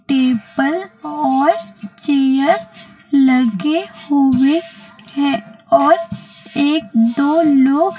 table और chair लगे हुए हैं और एक दो लोग--